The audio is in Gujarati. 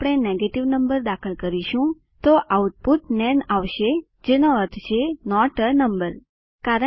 જો આપણે નેગેટિવ નંબર દાખલ કરીશું તો આઉટપુટ છે નાન આવશે જેનો અર્થ છે નોટ એ નંબર નંબર નથી